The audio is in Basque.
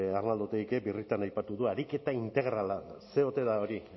arnaldo otegik birritan aipatu du ariketa integrala zer ote da hori